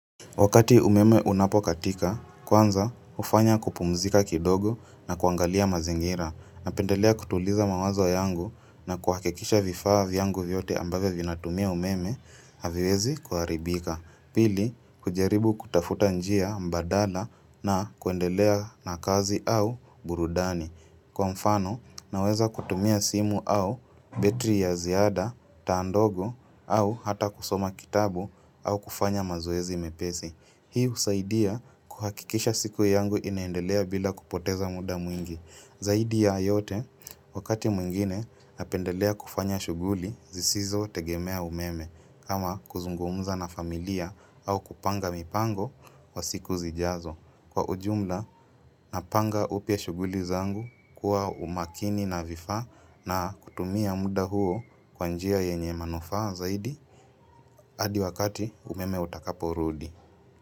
Wakati umeme unapokatika, kwanza hufanya kupumzika kidogo na kuangalia mazingira napendelea kutuliza mawazo yangu na kuhakikisha vifaa vyangu vyote ambavyo vinatumia umeme haviwezi kuharibika, pili kujaribu kutafuta njia mbadala na kuendelea na kazi au burudani Kwa mfano, naweza kutumia simu au betri ya ziada, taa ndogo, au hata kusoma kitabu au kufanya mazoezi mepesi. Hii husaidia kuhakikisha siku yangu inaendelea bila kupoteza muda mwingi. Zaidi ya yote, wakati mwingine, napendelea kufanya shughuli zisizotegemea umeme, kama kuzungumza na familia au kupanga mipango wa siku zijazo. Kwa ujumla napanga upya shughuli zangu kuwa umakini na vifaa na kutumia muda huo kwa njia yenye manufaa zaidi hadi wakati umeme utakaporudi.